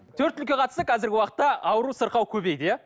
төрт түлікке қатысты қазіргі уақытта ауру сырқау көбейді иә